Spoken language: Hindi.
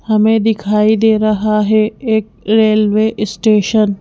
हमें दिखाई दे रहा है एक रेलवे स्टेशन ।